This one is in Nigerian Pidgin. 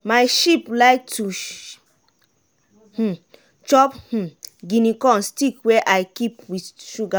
my sheep like to um chop um guinea corn stick wey i mix keep wit suga wata.